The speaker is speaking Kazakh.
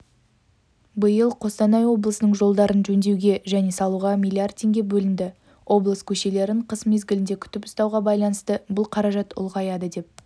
биыл қостанай облысының жолдарын жөндеуге және салуға млрд теңге бөлінді облыс көшелерін қыс мезгілінде күтіп ұстауға байланысты бұл қаражат ұлғаяды деп